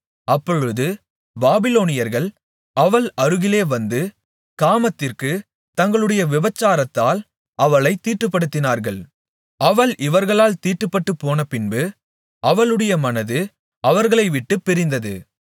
அப்பொழுது பாபிலோனியர்கள் அவள் அருகிலே வந்து காமத்திற்கு தங்களுடைய விபசாரத்தால் அவளைத் தீட்டுப்படுத்தினார்கள் அவள் இவர்களால் தீட்டுப்பட்டுப்போனபின்பு அவளுடைய மனது அவர்களை விட்டுப் பிரிந்தது